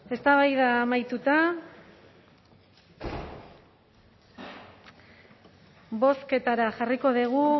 eztabaida amaituta bozketara jarriko dugu